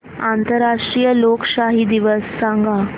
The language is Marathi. आंतरराष्ट्रीय लोकशाही दिवस सांगा